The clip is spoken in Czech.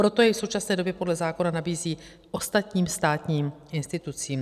Proto jej v současné době podle zákona nabízí ostatním státním institucím.